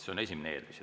See on esimene eeldus.